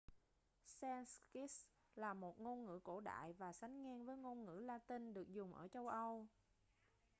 sanskrit là một ngôn ngữ cổ đại và sánh ngang với ngôn ngữ la-tinh được dùng ở châu âu